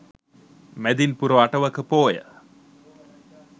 මැදින්පුර අටවක පෝය